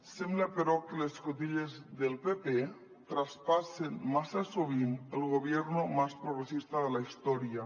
sembla però que les cotilles del pp traspassen massa sovint el gobierno más progresista de la historia